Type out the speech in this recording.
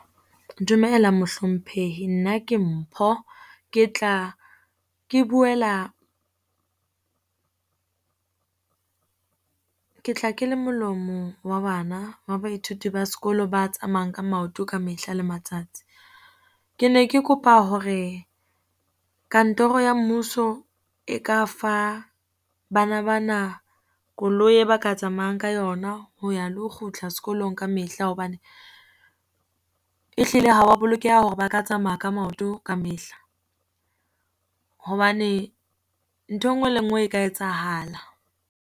Dumela mohlomphehi, nna ke Mpho. Ke tla ke buela ke tla ke le molomo wa bana wa baithuti ba sekolo ba tsamaeyang ka maoto ka mehla le matsatsi. Ke ne ke kopa hore kantoro ya mmuso e ka fa bana ba na koloi e ba ka tsamayang ka yona, ho ya le ho kgutla sekolong ka mehla, hobane e hlile ha wa bolokeha hore ba ka tsamaya ka maoto ka mehla. hobane nthwe nngwe le nngwe e ka etsahala.